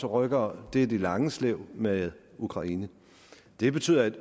rykker er det lange slæb med ukraine det betyder